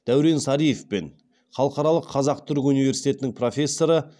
даурен сариев пен халықаралық қазақ түрік университетінің профессоры